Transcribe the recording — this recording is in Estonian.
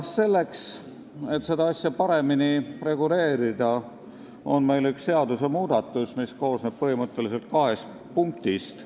Selleks, et seda asja paremini reguleerida, on meil valminud üks seadusmuudatus, mis koosneb põhimõtteliselt kahest punktist.